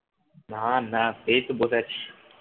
না না এইতো বসে আছি